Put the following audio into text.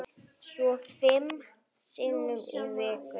Svo fimm sinnum í viku.